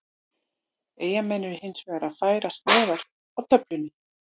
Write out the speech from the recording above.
Eyjamenn eru hinsvegar að færast neðar á töflunni.